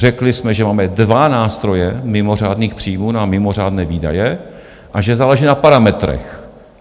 Řekli jsme, že máme dva nástroje mimořádných příjmů na mimořádné výdaje a že záleží na parametrech.